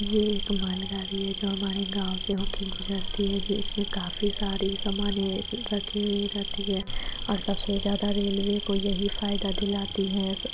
ये एक माल गाड़ी हैं जो हमारे गाँव से होके गुजरती हैं जो इसमें काफी सारी सामाने रखी रहती है और सबसे ज्यादा रेल्वे को यही फाईदा दिलाती हैं स--